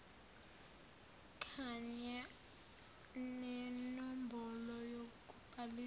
kanya nenombholo yokubhaliswa